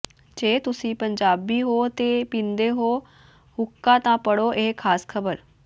ਜੇ ਤੁਸੀਂ ਪੰਜਾਬੀ ਹੋ ਤੇ ਪੀਂਦੇ ਹੋ ਹੁੱਕਾ ਤਾਂ ਪੜ੍ਹੋ ਇਹ ਖ਼ਾਸ ਖਬਰ